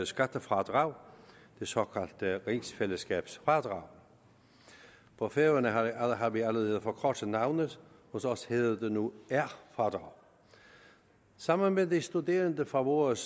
skattefradrag det såkaldte rigsfællesskabsfradrag på færøerne har har vi allerede forkortet navnet hos os hedder det nu r fradrag sammen med de studerende fra vores